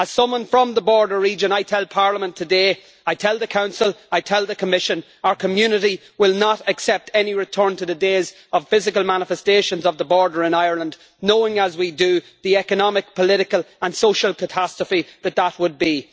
As someone from the border region, I tell Parliament today, I tell the Council and the Commission that our community will not accept any return to the days of physical manifestations of the border in Ireland, knowing as we do the economic, political and social catastrophe that that would be.